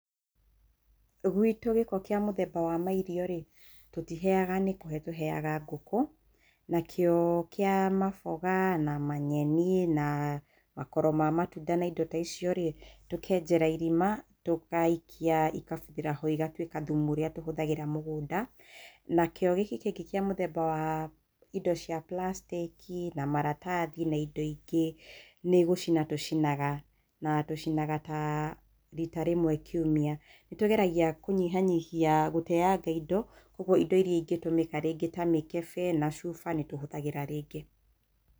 Guitũ gĩko kĩa mũthemba wa mairio rĩ, tũtiteaga nĩ kũhe tuheaga ngũkũ, nakĩo kĩa maboga na manyeni na makoro ma matunda na indo taicio rĩ, tũkenjera irima tũgaikia ikabuthĩra ho igatuĩka thumu ũrĩa tũhũthagĩra mũgũnda nakĩo gĩkĩ kĩngĩ kĩa wa mũthemba wa plastic na maratathi na indo ingĩ nĩ gũcina tũcinaga na tũcinaga ta rita rĩmwe kiumia, nĩtũgeragia kũnyiha nyihia gũteanga indo, ũguo indo iria ingĩhũmĩka ta mĩkebe chuba nĩtũhũthagĩra rĩngĩ.